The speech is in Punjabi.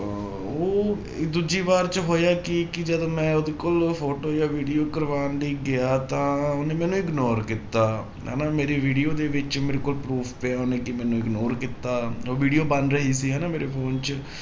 ਉਹ ਦੂਜੀ ਵਾਰ 'ਚ ਹੋਇਆ ਕੀ ਕਿ ਜਦੋਂ ਮੈਂ ਉਹਦੇ ਕੋਲ photo ਜਾਂ video ਕਰਵਾਉਣ ਲਈ ਗਿਆ ਤਾਂ ਉਹਨੇ ਮੈਨੂੰ ignore ਕੀਤਾ, ਹਨਾ ਮੇਰੀ video ਦੇ ਵਿੱਚ ਮੇਰੇ ਕੋਲ proof ਪਿਆ ਉਹਨੇ ਕਿ ਮੈਨੂੰ ignore ਕੀਤਾ ਉਹ video ਬਣ ਰਹੀ ਸੀ ਹਨਾ ਮੇਰੇ phone 'ਚ